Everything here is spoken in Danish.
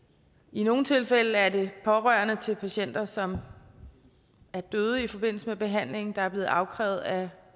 i nogle tilfælde er det pårørende til patienter som er døde i forbindelse med behandlingen der er blevet afkrævet at